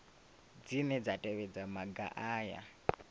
dzine dza tevhedza maga aya